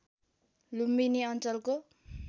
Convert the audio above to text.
लुम्बिनी अञ्चलको